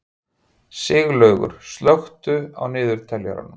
Siglaugur, slökktu á niðurteljaranum.